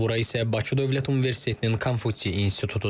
Bura isə Bakı Dövlət Universitetinin Konfutsi İnstitutudur.